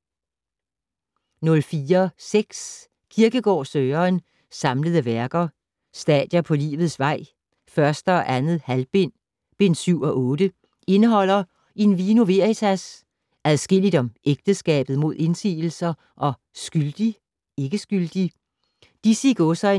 04.6 Kierkegaard, Søren: Samlede Værker: Stadier på Livets Vei, 1. og 2. halvbind: Bind 7 og 8 Indeholder: "In vino veritas", "Adskilligt om Ægteskabet mod Indsigelser" og "Skyldig? - Ikke-skyldig?". Disse